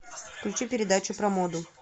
включи передачу про моду